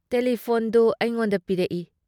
ꯇꯦꯂꯤꯐꯣꯟꯗꯨ ꯑꯩꯉꯣꯟꯗ ꯄꯤꯔꯛ ꯏ ꯫